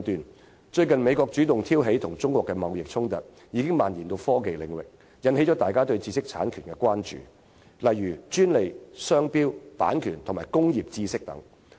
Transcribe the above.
美國最近主動挑起與中國的貿易衝突，並已蔓延至科技領域，引起大家對知識產權的關注，例如專利、商標、版權和工業知識等。